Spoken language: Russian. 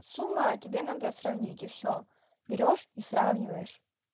сумма тебе надо сравнить и всё берёшь и сравниваешь